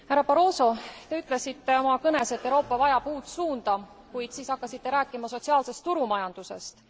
Härra Barroso, te ütlesite oma kõnes, et Euroopa vajab uut suunda, kuid siis hakkasite rääkima sotsiaalsest turumajandusest.